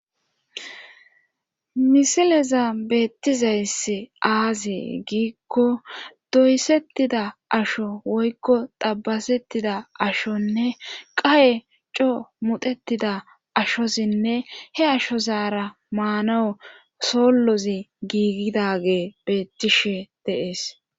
misileza beettizayss aazi giikko doysettida asho woykko tabasettida ashonne qaye co mutetida ashosinne he asho zaara maanawu sollozi giigidage beettishe dee'es